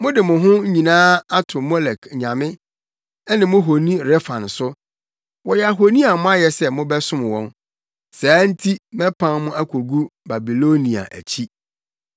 Mode mo ho nyinaa ato Molek nyame, ne mo honi Rɛfan so; wɔyɛ ahoni a moayɛ sɛ mobɛsom wɔn. Saa nti mɛpam mo akogu Babilonia akyi.’